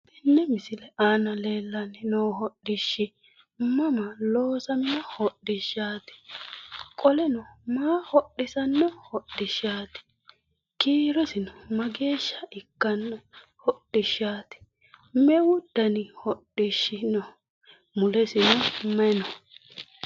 Tenne misile aana leellanni noo hodhishshi mama loosamino hodhishshaati qoleno maa hodhisanno hodhishshaati kiirosino mageeshsha ikkanno hodhishshaati meu dani hodhishshi no melesino may no?